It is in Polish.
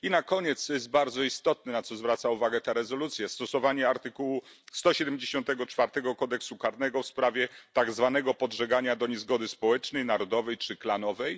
Na koniec bardzo istotne jest na co zwraca uwagę ta rezolucja stosowanie artykułu 174 kodeksu karnego w sprawie tak zwanego podżegania do niezgody społecznej, narodowej czy klanowej.